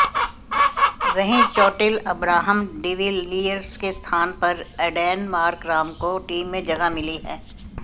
वहीं चोटिल Abraham de Villiers के स्थान पर एडेन मार्कराम को टीम में जगह मिली है